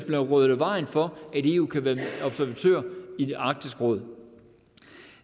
være ryddet af vejen for at eu kan være observatør i arktisk råd